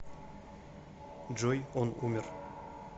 джой он умер